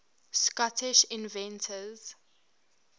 scottish inventors